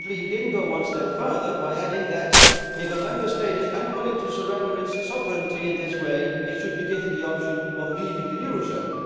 Unfortunately he did not go one step further by adding that if a Member State is unwilling to surrender its sovereignty in this way it should be given the option of leaving the eurozone.